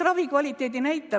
Ravikvaliteedi näitajad.